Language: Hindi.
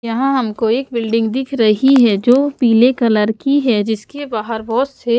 यहाँ हमको एक बिल्डिंग दिख रही है जो पीले कलर की है जिसके बाहर बहुत से --